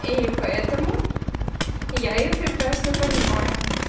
и поэтому я её прекрасно понимаю